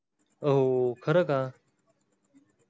हो खरं का!